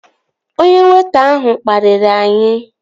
Onye weịta ahụ kpariri anyị